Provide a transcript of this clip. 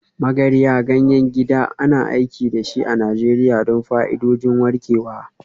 Magarya, ganyen gida, ana aiki da shi a Najeriya don fa'idodin warkewa.